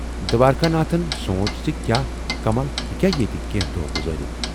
" دوارِکا ناتھن سوٗنچ زِ کیاہ کمل ہیکیاہ ییتہِ کینہہ دۅہ گُذٲرِتھ۔